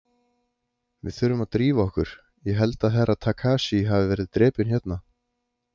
Við þurfum að drífa okkur, ég held að Herra Takashi hafi verið drepinn hérna.